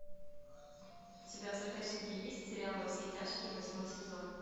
у тебя в загашнике есть сериал во все тяжкие восьмой сезон